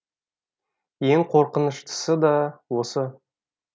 ең қорқыныштысы да осы